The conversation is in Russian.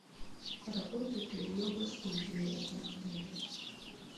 работает ли йога студия в этом отеле